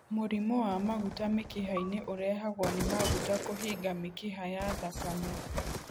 Mũrimũ wa maguta mĩkiha-inĩ ũrehagwo nĩ maguta kũhinga mĩkiha ya thakame.